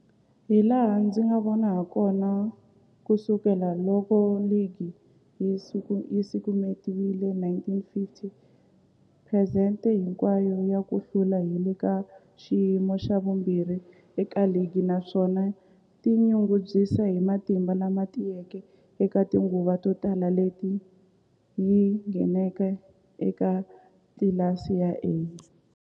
Hilaha ndzi nga vona hakona, ku sukela loko ligi yi simekiwile, 1950, phesente hinkwayo ya ku hlula yi le ka xiyimo xa vumbirhi eka ligi, naswona yi tinyungubyisa hi matimba lama tiyeke eka tinguva to tala leti yi ngheneke eka tlilasi ya A.